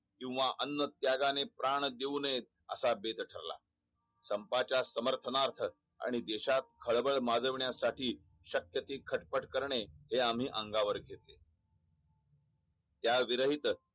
किंवा अण्णा त्यागाने प्राण घेऊ नये असा बेत ठरला संपाच्या समर्थक आणि देशात खळबळ माजवण्यासाठी शक्य ती खटपट करणे हे आम्ही अंगावर घेतले या विसरहित